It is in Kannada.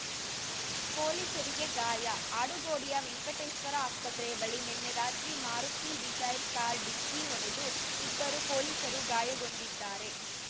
ಪೊಲೀಸರಿಗೆ ಗಾಯ ಆಡುಗೋಡಿಯ ವೆಂಕಟೇಶ್ವರ ಆಸ್ಪತ್ರೆ ಬಳಿ ನಿನ್ನೆ ರಾತ್ರಿ ಮಾರುತಿ ಡಿಸೈರ್ ಕಾರು ಡಿಕ್ಕಿ ಹೊಡೆದು ಇಬ್ಬರು ಪೊಲೀಸರು ಗಾಯಗೊಂಡಿದ್ದಾರೆ